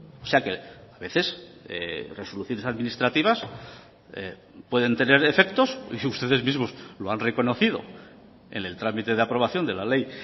o sea que a veces resoluciones administrativas pueden tener efectos y si ustedes mismos lo han reconocido en el trámite de aprobación de la ley